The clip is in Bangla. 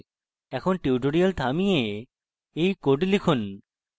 এখন tutorial থামিয়ে you code লিখুন